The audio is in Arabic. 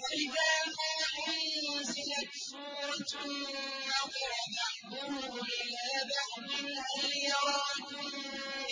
وَإِذَا مَا أُنزِلَتْ سُورَةٌ نَّظَرَ بَعْضُهُمْ إِلَىٰ بَعْضٍ هَلْ يَرَاكُم